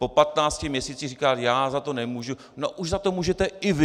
Po 15 měsících říkat já za to nemůžu - no už za to můžete i vy!